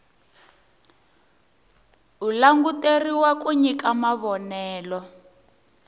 u languteriwa ku nyika vonelo